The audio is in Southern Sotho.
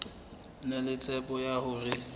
na le tshepo ya hore